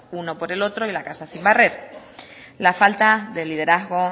uno por el otro y la casa sin barrer la falta de liderazgo